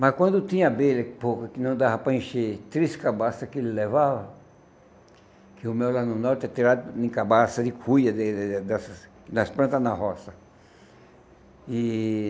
Mas quando tinha abelha pouca, que não dava para encher, três cabaças que ele levava, que o mel lá no norte é tirado em cabaças de cuia das das plantas na roça. E